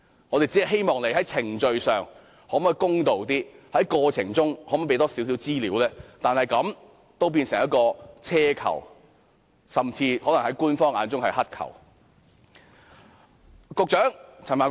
我們只是希望政府在程序上公道些，在過程中提供多些資料，但這樣也變成奢求，甚至在官方的眼中可能是乞求。